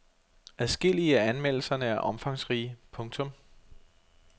Adskillige af anmeldelserne er omfangsrige. punktum